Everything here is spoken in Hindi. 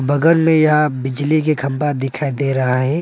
बगल में यह बिजली के खंभा दिखाई दे रहा है।